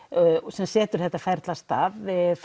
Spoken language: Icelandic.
sem setur þetta ferli af stað